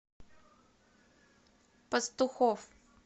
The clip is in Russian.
пастухов